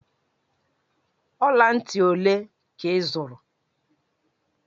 Ọla ntị ole ka ị zụrụ?